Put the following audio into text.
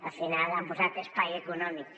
al final han posat espai econòmic